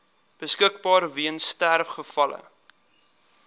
beskikbaar weens sterfgevalle